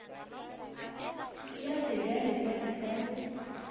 ke ya sebjalebjale ka ge